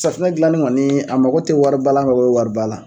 Safinɛ dilannin kɔni a mako tɛ wariba la , a ma ko bɛ wariba la